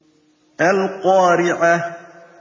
الْقَارِعَةُ